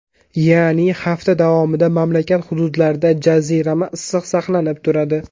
Ya’ni hafta davomida mamlakat hududlarida jazirama issiq saqlanib turadi.